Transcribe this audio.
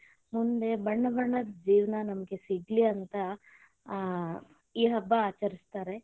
ಮುಂದೆ ಬಣ್ಣ ಬಣ್ಣದ ಜೀವನ ನಮಗ ಸಿಗ್ಲಿ ಅಂತ ಆ ಈ ಹಬ್ಬ ಆಚರಿಸ್ತಾರೆ.